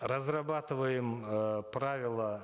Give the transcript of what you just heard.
разрабатываем э правила